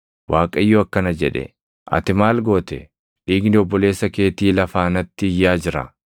Waaqayyo akkana jedhe; “Ati maal goote? Dhiigni obboleessa keetii lafaa natti iyyaa jira.